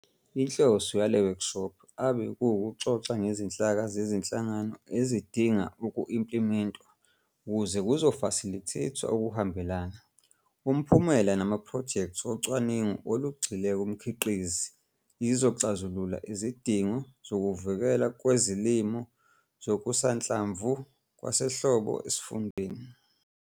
Inhloso yale wekshophu abe kuwukuxoxa ngezinhlaka zezinhlangano ezidinga uku-implimentwa ukuze kuzofasilitheythwa ukuhambelana, umphumela namaphrojekthi ocwaningo olugxile kumkhiqizi ezizoxazulula izidingo zokuvikelwa kwezilimo zokusanhlamvu kwasehlobo esifundeni.